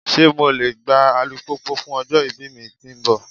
Ṣe MO le gba alupupu fun ọjọ-ibi mi ti nbọ?